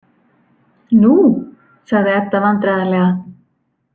Nú, sagði Edda vandræðalega.